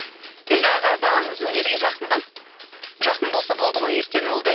енді аға балаңыз өнерге жақын ба жақын болса болды ғой ертең ол да